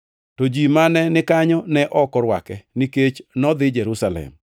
to ji mane nikanyo ne ok orwake, nikech nodhi Jerusalem.